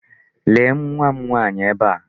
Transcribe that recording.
Lee nwa m nwaanyị ebe a.